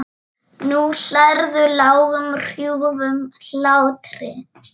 Nú hlærðu, lágum hrjúfum hlátri.